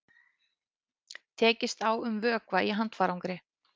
Tekist á um vökva í handfarangri